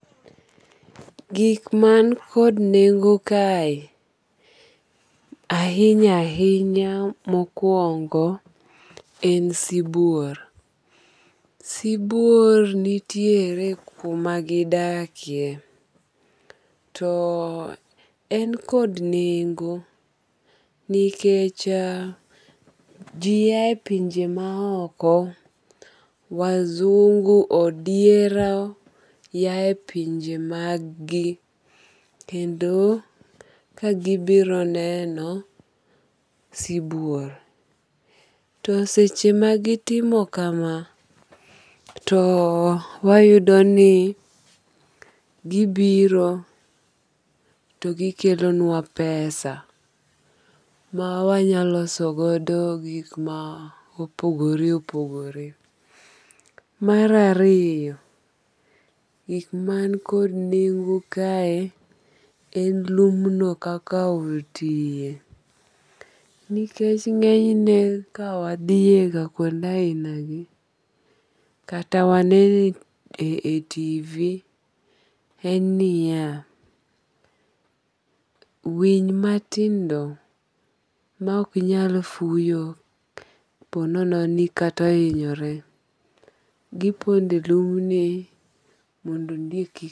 Gik man kod nengo kae ahinya ahinya mokuongo en sibuor. Sibuor nitiere kuma gidakie to en kod nengo nikech ji aye pinje ma oko wasungu odiero yae pinje mag gi kendo kagibiro neno sibuor. To seche magi timo kama to wayudo ni gibiro to gikelonwa pesa ma wanyaloso godo gik ma opogore opogore. Mar ariyo, gik man kod nengo kae en lumno kaka otiye. Nikech ng'enyne ka wadhiye kuonde ahina gi kata wanene e TV en niya winy matindo ma ok nyal fuyo oponono kata ohinyore giponde lumni mondo ondiek.